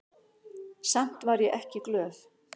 Samt var ég ekki glöð.